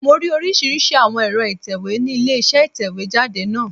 Mo rí oríṣìíríṣìí àwọn ẹ̀rọ ìtẹ̀wé ni ilé isé ìtẹ̀wé jáde náà